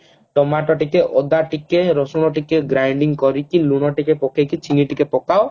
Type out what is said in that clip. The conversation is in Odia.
ଟମାଟ ଟିକେ ଅଦା ଟିକେ ରସୁଣ ଟିକେ grinding କରିକି ଲୁଣ ଟିକେ ପକେଇକି ଚିନି ଟିକେ ପକାଅ